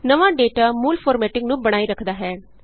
ਨਵਾਂ ਡੇਟਾ ਮੂਲ ਫਾਰਮੈੱਟਿੰਗ ਨੂੰ ਬਣਾਏ ਰੱਖਦਾ ਹੈ